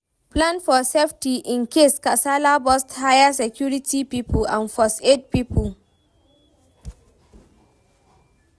Plan for safety incase kasala burst hire security pipo and first aid pipo